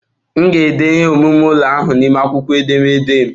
M ga-ede akwụkwọ ahụ n'ime akwụkwọ edemede m.